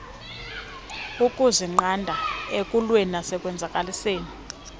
ukuzinqanda ekuweni nasekonzakaliseni